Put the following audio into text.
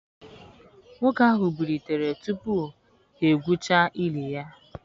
Nwoke ahụ bilitere tupu ha gwuchaa ili ya.